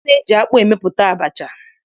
A na-eji akpụ emepụta abacha.